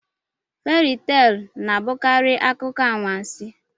Feri teelụ na-abụkarị akụkọ anwansị.